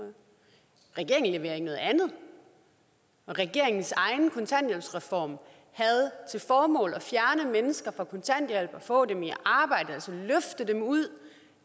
regeringen leverer ikke noget andet regeringens egen kontanthjælpsreform havde til formål at fjerne mennesker fra kontanthjælp og få dem i arbejde altså løfte dem ud